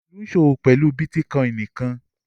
Olú ń ṣòwò pẹ̀lú bítíkọ́ìn nìkan